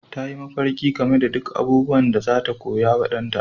Ta yi mafarki game da duk abubuwan da za ta koya wa ɗanta